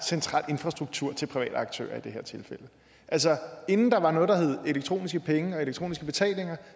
central infrastruktur til private aktører i det her tilfælde altså inden der var noget der hed elektroniske penge og elektroniske betalinger